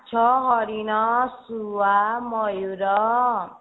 ମାଛ ହରିଣ ଶୁଆ ମୟୁର